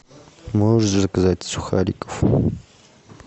можешь заказать сухариков